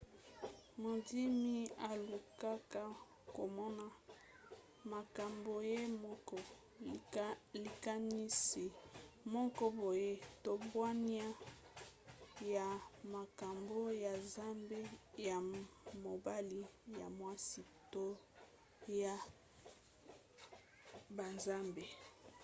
mondimi alukaka komona makambo ye moko likanisi moko boye to bwania ya makambo ya nzambe ya mobali/ya mwasi to ya banzambe